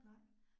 Nej